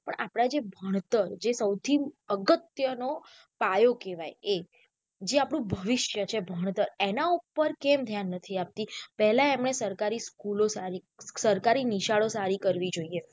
પણ આપડા જે ભણતર જે સૌથી અગત્ય નો પાયો કહેવાય એ જે આપણું ભવિષ્ય છે ભણતર એના ઉપર કેમ ધ્યાન નથી આપતી પેહલા એમને સરકારી school સારી સરકારી નિશાળો સારી કરવી જોઈએ.